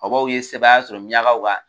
Bɔbɔw ye sebaaya sɔrɔ miyankaw kan